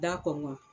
Da kɔngɔ